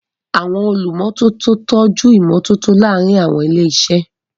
Àwọn olùmọ́tótó ń tọ́jú ìmọ́tótó láàárín àwọn ilé-iṣẹ́.